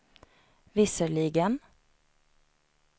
visserligen